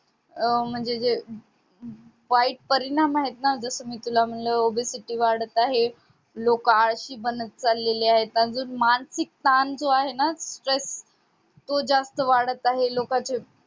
अह म्हणजे जे वाईट परिणाम आहेत ना जस कि मी तुला म्हणलं Obesity ची वाढत आहे लोक आळशी बनत चालली आहेत आणि मानसिक ताण जो आहे ना stress तो जास्त वाढत आहे कांचा